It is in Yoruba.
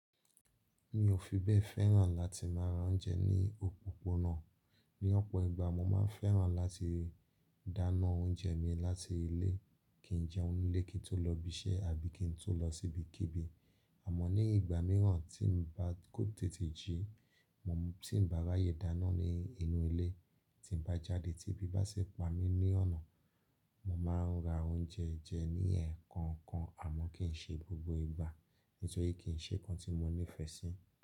Mi ò fi bẹ́ẹ̀ fẹ́ràn láti máa ra oúnjẹ ní òpópónà. Ni ọ̀pọ̀ ìgbà mo máa ń fẹ́ràn láti dáná oúnjẹ mi láti ilé kí n jẹun nilé kí n tó lọ ibi iṣẹ́ àbí kí n tó lọ sí ibikíbi. Àmọ́ ní ìgbà mìíràn tí mo bá kó tètè jí, tí mo bá ráyè dáná ní inú ilé, tí mo bá jáde tí ebi bá sì pa mí ní ọ̀nà, mo máa ra oúnjẹ jẹ ní ẹ̀ẹ̀kọkan. Àmọ́ kì í ṣe gbogbo ìgbà nítorí kì í ṣe nǹkan tí mo nífẹ̀ẹ́ sí.